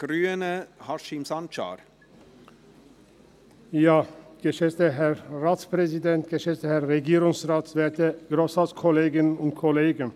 Für die Fraktion der Grünen hat Grossrat Sancar das Wort Wort.